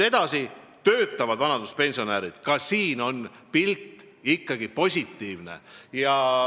Edasi, töötavad vanaduspensionärid, ka siin on pilt ikkagi positiivne.